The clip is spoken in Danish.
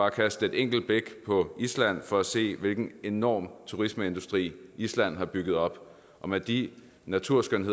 at kaste et enkelt blik på island for at se hvilken enorm turismeindustri island har bygget op og med de naturskønne